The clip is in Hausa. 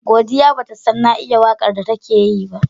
Godiya batasan na iya waƙar datake Yi ba